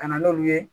Ka na n'olu ye